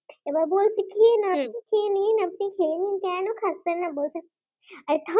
এবারে বলছে কি না হম খেয়ে নিন আপনি খেয়ে নিন কেন খাচ্ছেন না বলছে আরে থাম